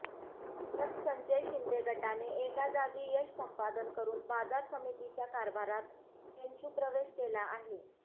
तर संजय शिंदे गटाने एका जागी यश संपादन करून बाजार समितीच्या कारभारात चंचुप्रवेश केला आहे